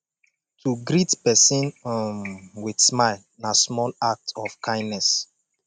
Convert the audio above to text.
to greet persin um with smile na small act of kindness